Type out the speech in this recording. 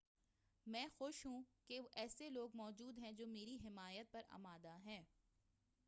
میں خوش ہوں کہ ایسے لوگ موجود ہیں جو میری حمایت پر آمادہ ہیں